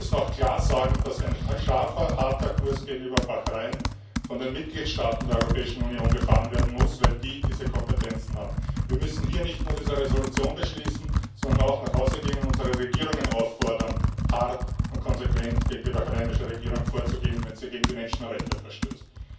Wir müssen auch klar sagen, dass ein scharfer harter Kurs gegenüber Bahrain von den Mitgliedstaaten der Europäischen Union gefahren werden muss, weil die diese Kompetenzen haben. Wir müssen hier nicht nur diese Gutschließung annehmen, sondern auch nach Hause gehen und unsere Regierungen auffordern, hart und konsequent gegen die bahrainische Regierung vorzugehen, wenn sie gegen die Menschenrechte verstößt.